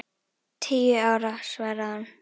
Tíu ára, svaraði hún.